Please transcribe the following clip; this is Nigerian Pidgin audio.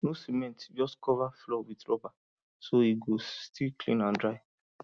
no cement just cover floor with rubber so e go still clean and dry